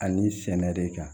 Ani sɛnɛ de kan